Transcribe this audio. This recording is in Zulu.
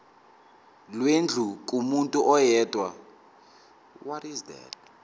lwendlu kumuntu oyedwa